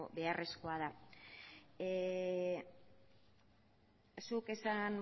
beharrezkoa da zuk